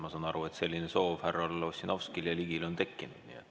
Ma saan aru, et selline soov härra Ossinovskil ja härra Ligil ongi tekkinud.